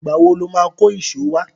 Ìgbà wo lo máa kó ìṣó wá?